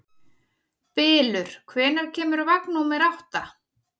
Bylur, hvenær kemur vagn númer átta?